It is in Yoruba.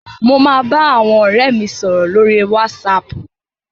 Mo máa bá àwọn ọ̀rẹ́ mi sọ̀rọ̀ lórí wásaapù.